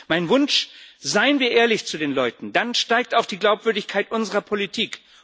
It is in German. Mein Wunsch Seien wir ehrlich zu den Leuten, dann steigt auch die Glaubwürdigkeit unserer Politik!